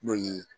N'o ye